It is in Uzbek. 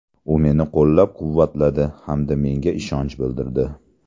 U meni qo‘llab-quvvatladi hamda menga ishonch bildirdi.